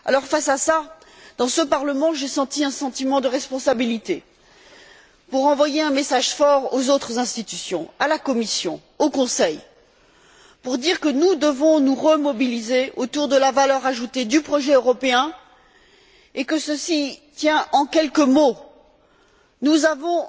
Face à cette situation, j'ai perçu, dans ce Parlement, un sentiment de responsabilité pour envoyer un message fort aux autres institutions, à la Commission et au Conseil, pour dire que nous devons nous remobiliser autour de la valeur ajoutée du projet européen, et que cela tient en quelques mots nous avons